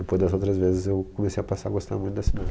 Depois dessas outras vezes, eu comecei a passar a gostar muito da cidade.